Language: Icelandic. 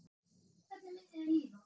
Hvernig myndi þér líða?